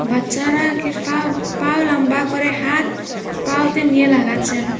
বাচ্চারা কি ফা পাও লম্বা করে হাত পাও তে নিয়ে লাগাচ্ছেন।